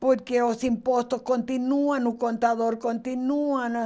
Porque os impostos continuam, o contador continua.